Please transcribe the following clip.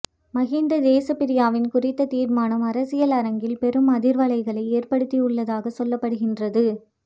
மகிந்த தேசப்பிரியவின் குறித்த தீர்மானம் அரசியல் அரங்கில் பெரும் அதிர்வலைகளை ஏற்படுத்தியுள்ளதாக சொல்லப்படுகின்றது